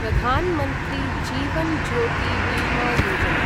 Pradhan Mantri Jeevan Jyoti Bima Yojana